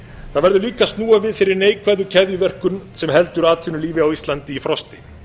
það verður líka að snúa við þeirri neikvæðu keðjuverkun sem heldur atvinnulífi á íslandi í frosti